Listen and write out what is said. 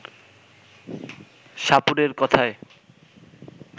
সাপুড়ের কথায়